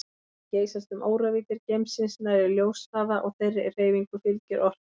Þær geysast um óravíddir geimsins nærri ljóshraða og þeirri hreyfingu fylgir orka.